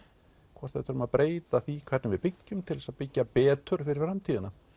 hvort við þurfum að breyta því hvernig við byggjum til þess að byggja betur fyrir framtíðina